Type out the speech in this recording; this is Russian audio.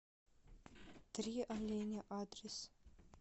три оленя адрес